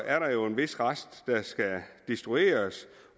er der jo en vis rest der skal destrueres